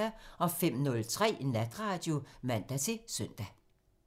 05:03: Natradio (man-søn)